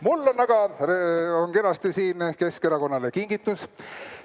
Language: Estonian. Mul on aga kenasti siin Keskerakonnale kingitus.